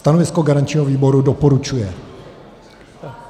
Stanovisko garančního výboru: doporučuje.